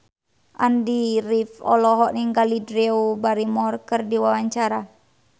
Andy rif olohok ningali Drew Barrymore keur diwawancara